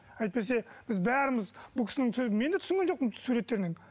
әйтпесе біз бәріміз бұл кісінің сөзін мен де түсінген жоқпын суреттерінен